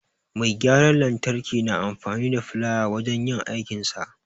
Mai gyaran lantarki na amfani da filaya wajen yin aikinsa.